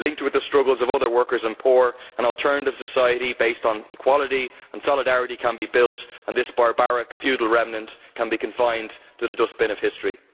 Linked with the struggles of other workers and the poor, an alternative society based on equality and solidarity can be built and this barbaric feudal remnant can be consigned to the dustbin of history.